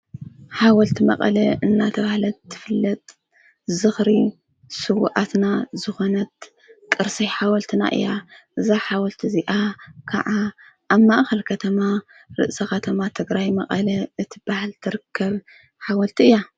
ሓወልቲ መቐለ እናተባሃለት ትፍለጥ ዝኽሪ ስዉኣትና ዝኾነት ቕርሲ ሓወልትና እያ፡፡ እዛ ሓወልቲ እዚኣ ከዓ ኣብ ማእኸል ከተማ ርእሰ ኸተማ ትግራይ መቐለ እትባሃል ትርከብ ሓወልቲ እያ፡፡